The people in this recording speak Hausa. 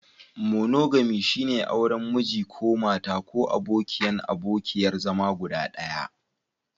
Monogami, shine auren Miji/Mata ko abokin/abokiyar zama guda ɗaya.